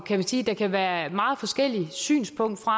kan vi sige der kan være meget forskellige synspunkter